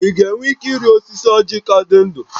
Ị ga-enwe ike ịrị osisi ọ́jị̀ ka dị ndụ?